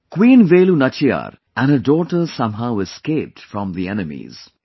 Queen Velu Nachiyar and her daughter somehow escaped from the enemies